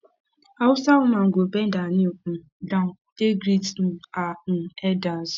hausa woman go bend her knee um down take greet um her um elders